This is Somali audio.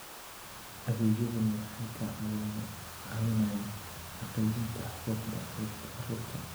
Adeegyadani waxay ka caawinayaan xaqiijinta xuquuqda carruurta.